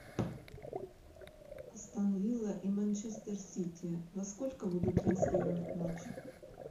астон вилла и манчестер сити во сколько будут транслировать матч